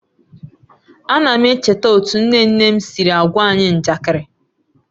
A na m echeta otu nne nne m siri á gwa anyị njakịrị